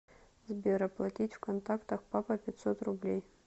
сбер оплатить в контактах папа пятьсот рублей